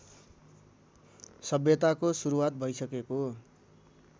सभ्यताको सुरुवात भैसकेको